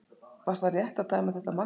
Var það rétt að dæma þetta mark gilt?